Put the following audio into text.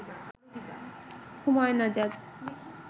Humayun Azad